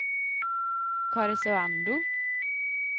Karesuando